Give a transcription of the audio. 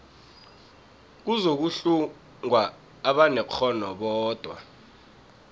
kuzokuhlungwa abanekghono bodwa